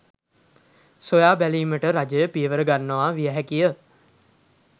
සොයා බැලීමට රජය පියවර ගන්නවා විය හැකිය.